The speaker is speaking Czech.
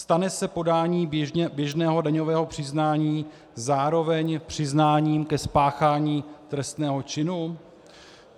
Stane se podání běžného daňového přiznání zároveň přiznáním ke spáchání trestného činu?